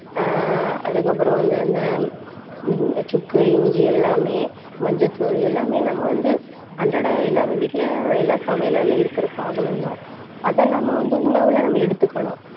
ஆஹ் அதுக்கப்புறம் வந்து, அந்த சுக்கு, இஞ்சி எல்லாமே, மஞ்சள் தூள், எல்லாமே நம்ம வந்து, அன்றாடம் எல்லார் வீட்டிலேயும் எல்லாம் சமையல் அறையில இருக்கிற சாதனம்தான் அதை நம்ம வந்து உணவுல நம்ம எடுத்துக்கணும்.